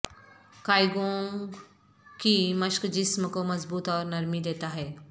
qigong کی مشق جسم کو مضبوط اور نرمی دیتا ہے